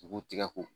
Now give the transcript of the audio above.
U b'u tigɛ ko